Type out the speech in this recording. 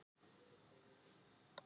Ég vann einsog skepna.